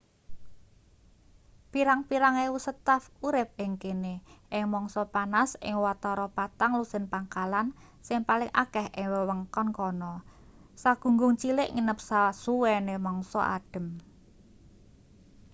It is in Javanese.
pirang-pirang ewu staf urip ing kene ing mangsa panas ing watara patang lusin pangkalan sing paling akeh ing wewengkon kana sagunggung cilik nginep sasuwene mangsa adhem